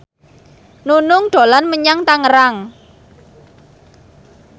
Nunung dolan menyang Tangerang